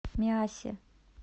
миассе